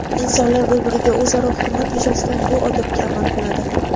insonlar bir-biriga o‘zaro hurmat yuzasidan bu odobga amal qiladi.